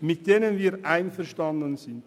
mit welchen wir einverstanden sind.